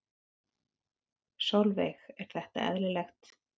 Sólveig: Er þetta eðlilegt?